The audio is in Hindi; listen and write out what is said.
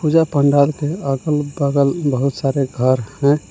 यह पंडाल के अगल बगल बहुत सारे घर है।